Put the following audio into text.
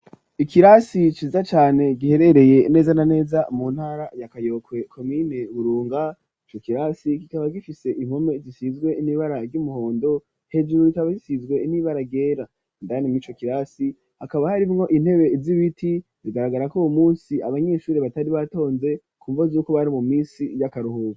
Ikirasi ciza cane giherereye neza na ,neza mu ntara ya kayokwe, komine burunga, cokirasi kikaba gifise impome zisizwe nibara ry'umuhondo, hejuru rikaba zisizwe nibara ryera, indani mw'icokirasi hakaba hari mwo intebe zibiti , bigaragara ko uwu munsi abanyeshuri batari batonze ,kumvo zuko bari mu misi y'akaruhura.